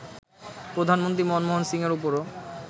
প্রধানমন্ত্রী মনমোহন সিংয়ের ওপরও